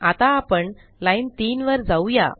आता आपण लाईन 3 वर जाऊ या